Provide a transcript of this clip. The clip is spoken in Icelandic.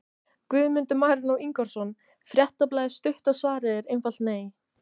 Guðmundur Marinó Ingvarsson, Fréttablaðið Stutta svarið er einfalt nei.